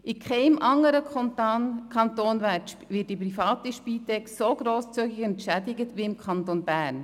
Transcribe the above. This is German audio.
In keinem anderen Kanton wird die private Spitex so grosszügig entschädigt wie im Kanton Bern.